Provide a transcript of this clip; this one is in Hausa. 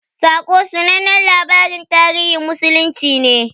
"Saƙo" sanannen labarin tarihin musulunci ne.